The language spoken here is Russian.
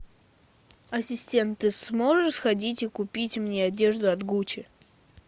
ассистент ты сможешь сходить и купить мне одежду от гуччи